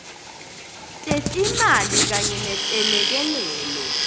tetimali kanye netelekelelo